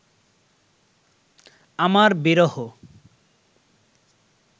আমার বিরহ